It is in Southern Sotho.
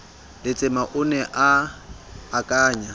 letsema o ne a akanya